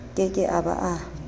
ke ke a ba a